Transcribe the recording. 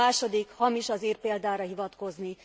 A második hamis az ír példára hivatkozni.